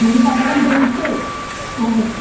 हो हो तस कन्सिडर करू शकता तुम्ही.